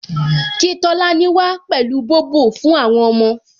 Kí Tolani wá pẹ̀lú Bobo fún àwọn ọmọ